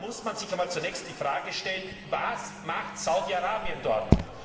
Da muss man sich zunächst die Frage stellen Was macht Saudi Arabien dort?